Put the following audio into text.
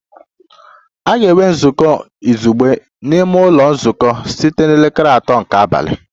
A ga-enwe nzukọ izugbe n'ime ụlọ nzukọ site na elekere atọ nke abalị